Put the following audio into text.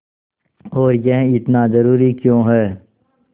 और यह इतना ज़रूरी क्यों है